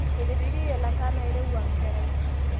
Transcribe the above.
Etepejoye lata nairewua nkerai